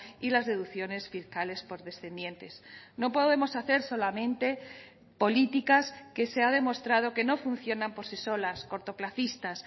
y las deducciones fiscales por descendientes no podemos hacer solamente políticas que se ha demostrado que no funcionan por sí solas cortoplacistas